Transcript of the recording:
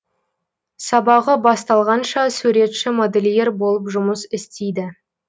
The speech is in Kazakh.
сабағы басталғанша суретші модельер болып жұмыс істейді